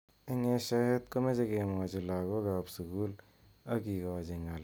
Eng eshoet komeche kemwochi lakok ab sukul ak kikochi ng'al icheket.